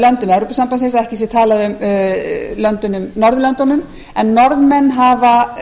löndum evrópusambandsins að ekki sé talað um norðurlöndin en norðmenn hafa